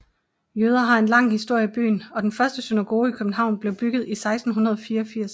Jøder har en lang historie i byen og den første synagoge i København blev bygget i 1684